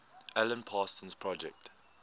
alan parsons project